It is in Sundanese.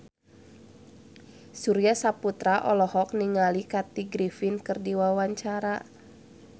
Surya Saputra olohok ningali Kathy Griffin keur diwawancara